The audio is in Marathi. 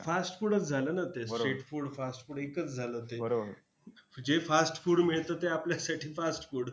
fast food च झालं ना ते street food fast food एकच झालं ते जे fast food मिळतं ते आपल्यासाठी fast food